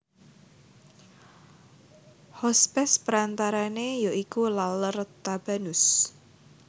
Hospes perantarane ya iku Laler Tabanus